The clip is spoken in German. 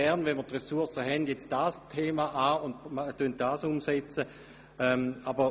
Und wenn wir die Ressourcen haben, nehmen wir uns gern als Nächstes dieser «Baustelle» an und setzen dieses Anliegen um.